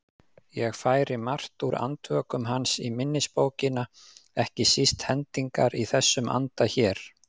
Ég færi margt úr Andvökum hans í minnisbókina, ekki síst hendingar í þessum anda hér